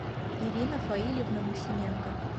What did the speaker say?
ирина фаильевна максименко